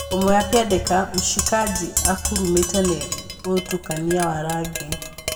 Ũmwe akiandĩka ‘’Mshkaji, akũrumĩte nĩ ũthutũkania wa rangi’’